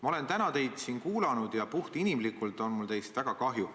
Ma olen täna teid siin kuulanud ja puht inimlikult on mul teist väga kahju.